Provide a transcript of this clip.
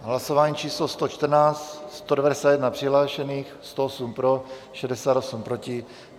Hlasování číslo 114, 191 přihlášených, 108 pro, 68 proti.